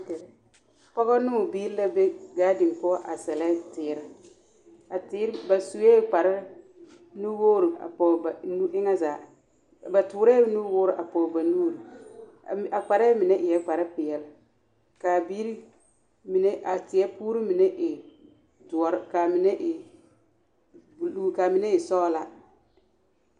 Pɔgɔ ne o bibiiri la be gaadin poɔ a sɛlɛ teere, a teere, ba sue kpare nu-wogiri a pɔge ba nu boma zaa ba toorɛɛ nuwoore a pɔge ba nuuri a kparɛɛ mine eɛ kpare peɛle k'a biiri mine a teɛ puuri mine e doɔre k'a mine e buluu k'a mine e sɔgelaa.